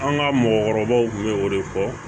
An ka mɔgɔkɔrɔbaw tun bɛ o de fɔ